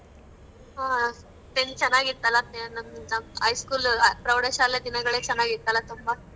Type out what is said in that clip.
ಹ. ಚೆನ್ನಾಗಿತ್ತಲ್ಲ ಎ ನಮ್ ನಮ್ high school ಪ್ರೌಢಶಾಲೆ ದಿನಗಳೆ ಚೆನ್ನಾಗಿತ್ತಲ್ಲ ತುಂಬಾ.